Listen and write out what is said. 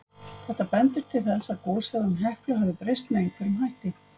Þetta bendir til þess að goshegðun Heklu hafi breyst með einhverjum hætti.